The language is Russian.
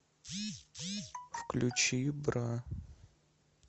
включи бра